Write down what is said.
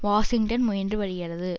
Washington முயன்று வருகிறது